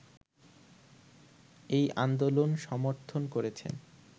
এই আন্দোলন সমর্থন করেছেন